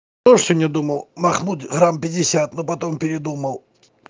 осенью думал махнуть грамм пятьдесят но потом передумал